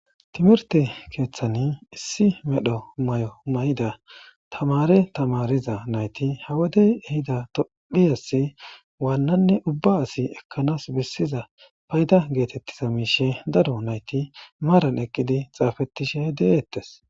timirte keeththani issi medho may7o may7ida tamare tamariza nayti hawadey ehida tophiyasi waannanne ubba asi ekkanas bessiza payda geetettiza miishe daro nayti maaran eqqidi xaafettishe deeettes